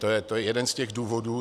To je jeden z těch důvodů.